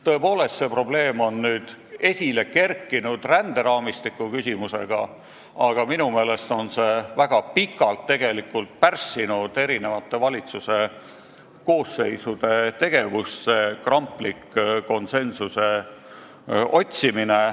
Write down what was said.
Tõepoolest, see probleem on nüüd esile kerkinud seoses ränderaamistiku küsimusega, aga minu meelest on see kramplik konsensuse otsimine tegelikult väga pikalt erinevate valitsuse koosseisude tegevust pärssinud.